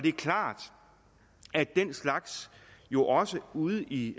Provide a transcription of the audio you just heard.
er klart at den slags jo også ude i